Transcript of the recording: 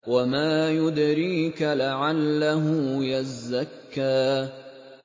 وَمَا يُدْرِيكَ لَعَلَّهُ يَزَّكَّىٰ